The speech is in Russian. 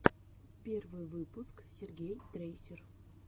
первый выпуск сергей трейсер